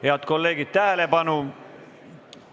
Head kolleegid, tähelepanu!